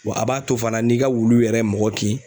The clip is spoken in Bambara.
Wa a b'a to fana n'i ka wulu yɛrɛ ye mɔgɔ kin